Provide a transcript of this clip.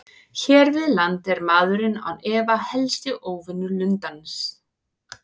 Hér við land er maðurinn án efa helsti óvinur lundans.